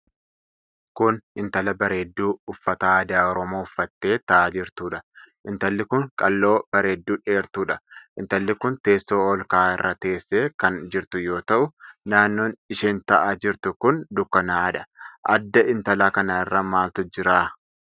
Kun intala bareedduu uffata aadaa Oromoo uffattee taa'aa jirtuudha. Intalli kun qal'oo bareedduu dheertuudha. Intalli kun teessoo ol ka'aa irra teessee kan jirtu yoo ta'u naannoon isheen taa'aa jirtu kun dukkanaa'adha. Adda intala kanaa irra maaltu jira?